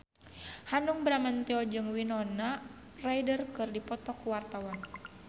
Hanung Bramantyo jeung Winona Ryder keur dipoto ku wartawan